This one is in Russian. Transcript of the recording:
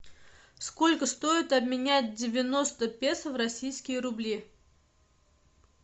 сколько стоит обменять девяносто песо в российские рубли